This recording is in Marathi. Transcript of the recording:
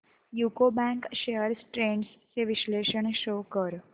यूको बँक शेअर्स ट्रेंड्स चे विश्लेषण शो कर